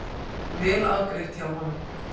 Vel afgreitt hjá honum.